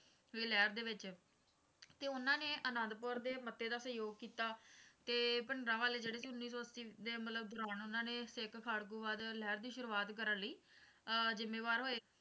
ਵੀ ਲਹਿਰ ਦੇ ਵਿੱਚ ਤੇ ਉਨ੍ਹਾਂ ਨੇ ਅਨੰਦਪੁਰ ਦੇ ਮੱਤੇ ਦਾ ਸਹਿਜੋਗ ਕੀਤਾ ਤੇ ਭਿੰਡਰਾਂਵਾਲੇ ਜਿਹੜੇ ਕਿ ਉੱਨੀ ਸੌ ਅੱਸੀ ਦੇ ਮਤਲਬ ਦੌਰਾਨ ਉਨ੍ਹਾਂ ਨੇ ਸਿੱਖ ਖਾੜਕੂਵਾਦ ਲਹਿਰ ਦੀ ਸ਼ੁਰੂਆਤ ਕਰਨ ਲਈ ਅਹ ਜੁੰਮੇਵਾਰ ਹੋਏ